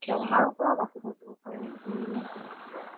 বেমাৰৰ পৰাও বাচি থাকিব পাৰি